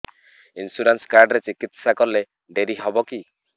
insurance card ରେ ଚିକିତ୍ସା କଲେ ଡେରି ହବକି